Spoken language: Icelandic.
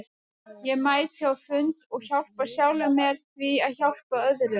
Ég mæti á fundi og hjálpa sjálfum mér með því að hjálpa öðrum.